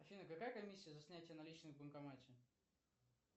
афина какая комиссия за снятие наличных в банкомате